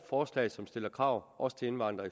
forslag som stiller krav også til indvandrere